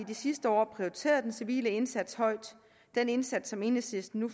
de sidste år prioriteret den civile indsats højt den indsats som enhedslisten nu